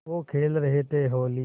वो खेल रहे थे होली